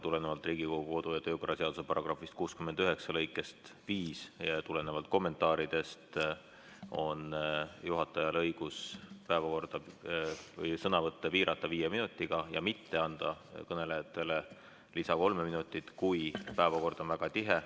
Tulenevalt Riigikogu kodu‑ ja töökorra seaduse § 69 lõikest 5 ja tulenevalt kommentaaridest on juhatajal õigus sõnavõtte piirata viie minutiga ja mitte anda kõnelejatele kolme lisaminutit, kui päevakord on väga tihe.